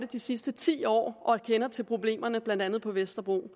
de sidste ti år og kender til problemerne blandt andet på vesterbro